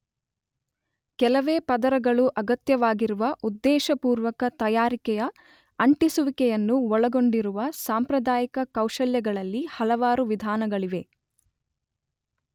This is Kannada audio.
ಕೆಲವೇ ಪದರಗಳು ಅಗತ್ಯವಾಗಿರುವ ಉದ್ದೇಶಪೂರ್ವತ ತಯಾರಿಕೆಯ 'ಅಂಟಿಸುವಿಕೆ'ಯನ್ನು ಒಳಗೊಂಡಿರುವ ಸಾಂಪ್ರದಾಯಿಕ ಕೌಶಲ್ಯಗಳಲ್ಲಿ ಹಲವಾರು ವಿಧಾನಗಳಿವೆ.